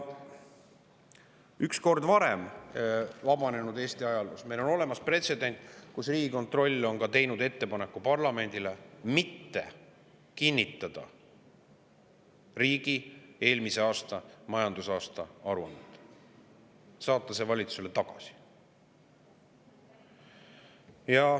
Üks kord varem on vabanenud Eesti ajaloos olnud pretsedent, kui Riigikontroll ka tegi ettepaneku parlamendile mitte kinnitada riigi eelmise aasta majandusaasta aruannet, vaid saata see valitsusele tagasi.